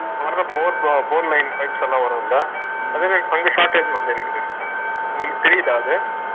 இப்ப வர்ற bore boreline pipes எல்லா வரும்ல அதுமாரி உங்களுக்கு தெரியுதா அது